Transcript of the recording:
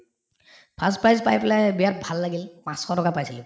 first prize পাই পেলাই বিৰাট ভাল লাগিল পাঁচশ টকা পাইছিলো